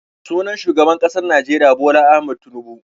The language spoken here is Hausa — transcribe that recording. Sunan shugaban ƙasar Najeriya Bola Ahmad Tunubu.